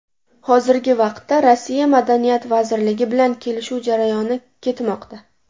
Hozirgi vaqtda Rossiya Madaniyat vazirligi bilan kelishuv jarayoni ketmoqda.